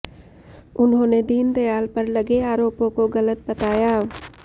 उन्होंने दीनदयाल पर लगे आरोपों को गलत बताया